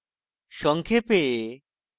সংক্ষেপে